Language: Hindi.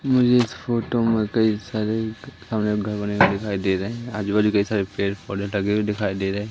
मुझे इस फोटो में कई सारे कमरे घर बने हुए दिखाई दे रहे हैं आजू बाजू कई सारे पेड़ पौधे लगे हुए दिखाई दे रहे है।